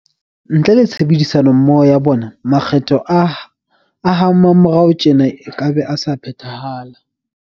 Ntle le tshebedisano mmoho ya bona, makgetho a ha mmamorao tjena ekabe a sa phethahala.